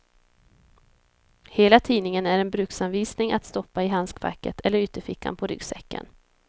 Hela tidningen är en bruksanvisning att stoppa i handskfacket eller ytterfickan på ryggsäcken.